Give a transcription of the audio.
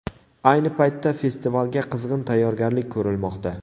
Ayni paytda festivalga qizg‘in tayyorgarlik ko‘rilmoqda.